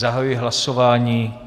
Zahajuji hlasování.